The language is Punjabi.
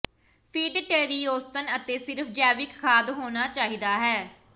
ਫੀਡ ਟਰੀ ਔਸਤਨ ਅਤੇ ਸਿਰਫ ਜੈਵਿਕ ਖਾਦ ਹੋਣਾ ਚਾਹੀਦਾ ਹੈ